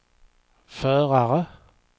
förare